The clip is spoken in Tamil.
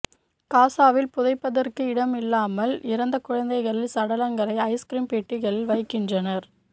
காசாவில் புதைபதர்க்கு இடமில்லாமல் இறந்த குழந்தைகளின் சடலங்களை ஐஸ்கிரீம் பெட்டிகளில் வைக்கின்றனர்